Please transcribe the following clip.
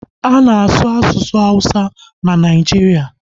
A na-asu asụsụ awụsa na Naijiria